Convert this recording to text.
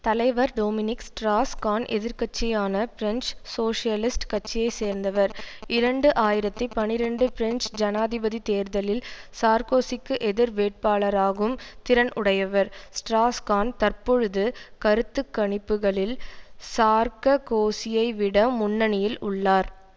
தலைவர் Dominique Strauss Kahn எதிர் கட்சியான பிரெஞ்சு சோசியலிஸ்ட் கட்சியை சேர்ந்தவர் இரண்டு ஆயிரத்தி பனிரண்டு பிரெஞ்சு ஜனாதிபதி தேர்தலில் சார்க்கோசிக்கு எதிர் வேட்பாளராகும் திறன் உடையவர் ஸ்ட்ராஸ் கான் தற்பொழுது கருத்து கணிப்புக்களில் சார்ககோசியைவிட முன்னணியில் உள்ளார்